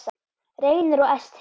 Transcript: Reynir og Esther.